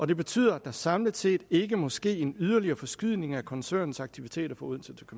det betyder at der samlet set ikke må ske en yderligere forskydning af koncernens aktiviteter fra odense til